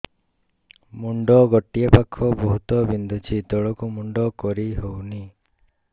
ମୁଣ୍ଡ ଗୋଟିଏ ପାଖ ବହୁତୁ ବିନ୍ଧୁଛି ତଳକୁ ମୁଣ୍ଡ କରି ହଉନି